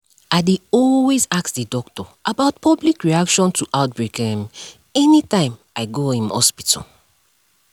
i dey always ask the doctor about public reaction to outbreak um anytym i go um hospital